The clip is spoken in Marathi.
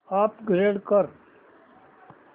अपग्रेड कर